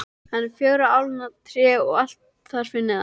Öll fjögurra álna tré og allt þar fyrir neðan.